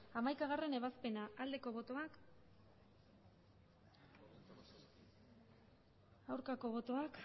hamaikagarrena ebazpena aldeko botoak aurkako botoak